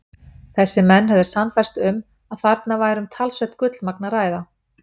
Þessir menn höfðu sannfærst um, að þarna væri um talsvert gullmagn að ræða.